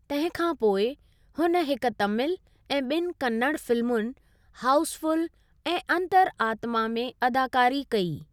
तंहिं खां पोइ, हून हिकु तमिल ऐं ॿिनि कन्नड़ फिल्मुनि, हाउसफुल ऐं अंतरात्मा, में अदाकारी कई।